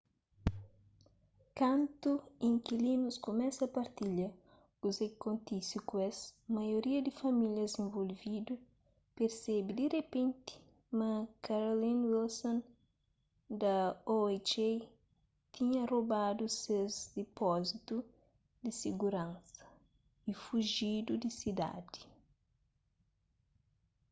kantu inkilinus kumesa partilha kuze ki kontise ku es maioria di famílias involvidu persebe di ripenti ma carolyn wilson da oha tinha robadu ses dipózitu di siguransa y fujidu di sidadi